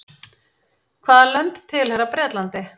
hvaða lönd tilheyra bretlandi